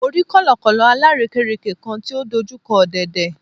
Mo rí kọ̀lọ̀kọ̀lọ̀ alárèékérekè kan tí ó dojú kọ ọ̀dẹ̀dẹ̀